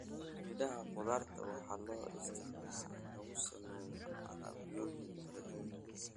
Midhaha qudaarta waxaa loo isticmaalaa in lagu sameeyo alaabooyin kala duwan.